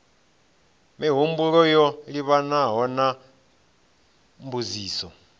mihumbulo yo livhanaho na mbudziso